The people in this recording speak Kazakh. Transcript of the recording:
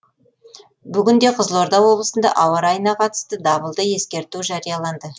бүгінде қызылорда облысында ауа райына қатысты дабылды ескерту жарияланды